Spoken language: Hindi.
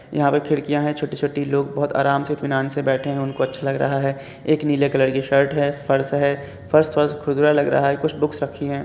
यहाँ पे खिडकियाँ हैं छोटी-छोटी लोग बहुत अराम से इत्मिनान से बैठे हैं। उनको अच्छा लग रहा है। एक नीले कलर की शर्ट है फर्श है। फर्श खुरदुरा लग रहा है। कुछ बुक्स रखी हैं।